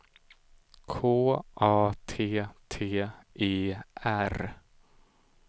K A T T E R